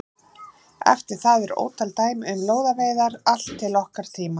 Eftir það eru ótal dæmi um lóðaveiðar allt til okkar tíma.